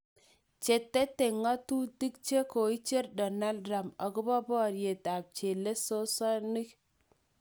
Che tete ngatutik che koicher donald trump akopo poriet ap chelesosinik